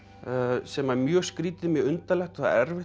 sem er mjög skrýtið mjög undarlegt og það er erfitt